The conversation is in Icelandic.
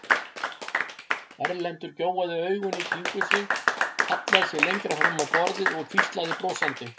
Erlendur gjóaði augum í kringum sig, hallaði sér lengra fram á borðið og hvíslaði brosandi.